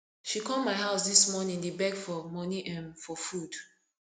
she come my house dis morning dey beg for money um for food